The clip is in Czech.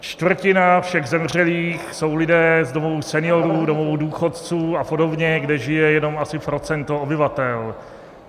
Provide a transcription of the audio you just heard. Čtvrtina všech zemřelých jsou lidé z domovů seniorů, domovů důchodců a podobně, kde žije jenom asi procento obyvatel.